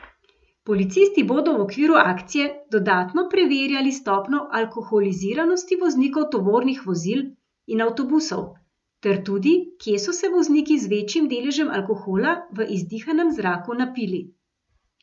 Policisti bodo v okviru akcije dodatno preverjali stopnjo alkoholiziranosti voznikov tovornih vozil in avtobusov, ter tudi, kje so se vozniki z večjim deležem alkohola v izdihanem zraku napili.